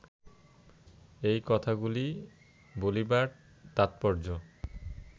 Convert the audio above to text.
এই কথাগুলি বলিবার তাৎপর্য